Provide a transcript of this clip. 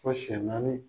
Fo siyɛn naani